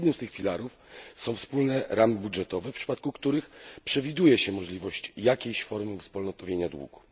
Jednym z tych filarów są wspólne ramy budżetowe, w przypadku których przewiduje się możliwość jakiejś formy uwspólnotowienia długu.